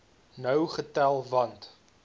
nou getel want